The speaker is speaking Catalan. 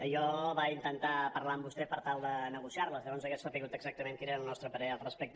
jo vaig intentar parlar amb vostè per tal de negociar·les llavors hauria sabut exactament quin era el nostre parer al respecte